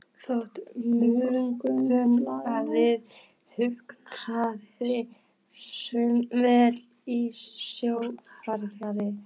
Þótt Morgunblaðinu hugnaðist sumt vel í stjórnarfari